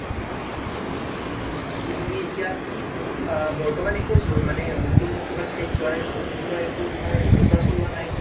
বাকী তুমি এতিয়া, আ আ বৰ্তমান একো যো মানে ঠাইত যোৱাৰ তেনেকুৱা তোমাৰ একো যো যা চলোৱা নাই ন